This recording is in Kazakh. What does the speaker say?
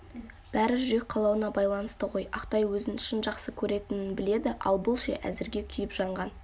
бәрі жүрек қалауына байланысты ғой ақтай өзін шын жақсы көретінін біледі ал бұл ше әзірге күйіп-жанған